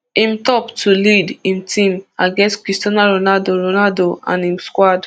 im top to lead im team against cristiano ronaldo ronaldo and im squad